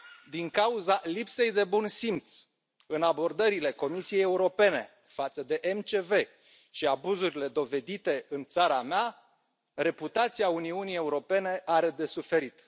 Din cauza lipsei de bun simț în abordările Comisiei Europene față de MCV și abuzurile dovedite în țara mea, reputația Uniunii Europene are de suferit.